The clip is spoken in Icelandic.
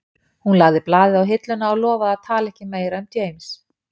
Hún lagði blaðið á hilluna og lofaði að tala ekki meira um James